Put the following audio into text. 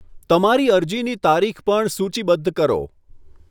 તમારી અરજીની તારીખ પણ સૂચિબદ્ધ કરો.